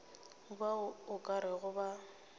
bao o ka rego ba